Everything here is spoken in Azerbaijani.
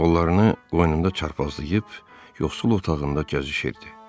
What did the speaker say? Qollarını boynunda çarpazlayıb yoxsul otağında gəzişirdi.